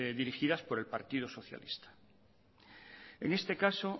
dirigidas por el partido socialista en este caso